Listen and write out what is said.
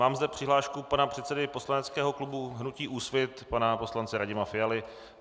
Mám zde přihlášku pana předsedy poslaneckého klubu hnutí Úsvit, pana poslance Radima Fialy.